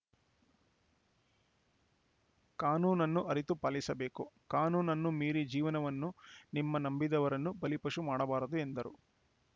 ಕಾನೂನನ್ನು ಅರಿತು ಪಾಲಿಸಬೇಕು ಕಾನೂನು ಮೀರಿ ಜೀವನವನ್ನು ನಿಮ್ಮ ನಂಬಿದವರನ್ನು ಬಲಿಪಶು ಮಾಡಬಾರದು ಎಂದರು